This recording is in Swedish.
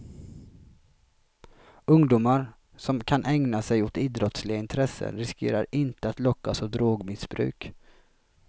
Ungdomar som kan ägna sig åt idrottsliga intressen riskerar inte att lockas av drogmissbruk.